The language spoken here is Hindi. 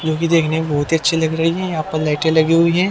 मूवी देखने में बहुत ही अच्छी लग रही है यहाँ पर लाइटें लगी हुई है।